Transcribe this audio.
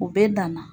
U bɛɛ dan na